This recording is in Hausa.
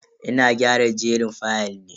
Ina gyara jerin fayal ne.